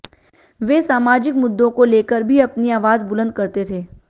वे सामाजिक मुद्दों को लेकर भी अपनी आवाज बुलंद करते थे